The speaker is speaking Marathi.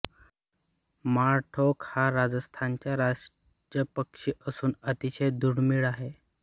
माळढोक हा राजस्थानचा राज्यपक्षी असून अतिशय दुर्मिळ आहे